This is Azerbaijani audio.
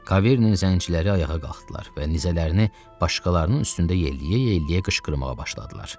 Kaverinin zəngiləri ayağa qalxdılar və nizələrini başqalarının üstündə yeləyə-yeləyə qışqırmağa başladılar.